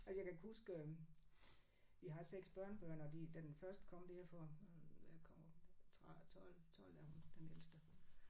Altså jeg kan huske øh vi har 6 børnebørn og de da den første kom der for øh ja kom 12 12 er hun den ældste